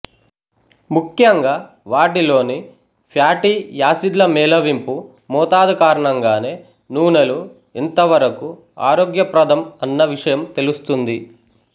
ముఖ్యంగా వాటిలోని ఫ్యాటీ యాసిడ్ల మేళవింపు మోతాదు కారణంగానే నూనెలు ఎంత వరకు ఆరోగ్యప్రదం అన్న విషయం తెలుస్తుంది